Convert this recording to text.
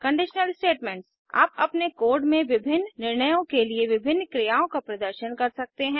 conditional statements आप अपने code में विभिन्न निर्णयों के लिए विभिन्न क्रियाओं का प्रदर्शन कर सकते हैं